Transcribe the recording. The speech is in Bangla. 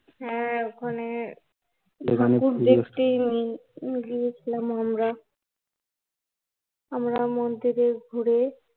হ্যা, ওখানে ওখানে ছিলাম আমরা আমরা মন্দিরে ঘুরে